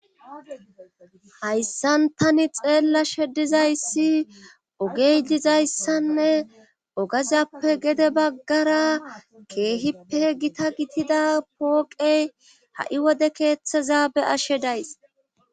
hayssan tani xeella shedizayssi ogeizayssanne ogazappe gede baggara keehippe gita gitida pooqey ha7i wode keeththeza be'ashe days